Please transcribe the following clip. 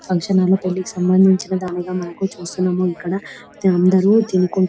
Function hall లోని పెళ్లికి సంబంధించిన దానిగా మనము చూస్తున్నాము ఇక్కడ అందరూ --.